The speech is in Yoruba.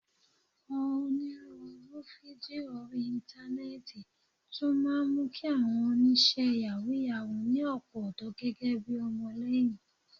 Onírúurú fídíò orí Íńtánẹ́ẹ̀tì tún máa ń mú kí àwọn oníṣẹ́ yàwúù-yàwúù ní ọ̀pọ̀ ọ̀dọ́ gẹ́gẹ́ bi ọmọlẹ́yìn